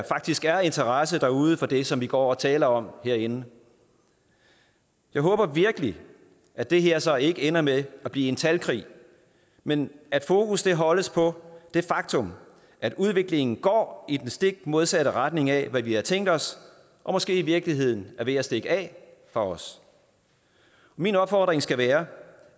faktisk er interesse derude for det som vi går og taler om herinde jeg håber virkelig at det her så ikke ender med at blive en talkrig men at fokus holdes på det faktum at udviklingen går i den stik modsatte retning af hvad vi havde tænkt os og måske i virkeligheden er ved at stikke af for os min opfordring skal være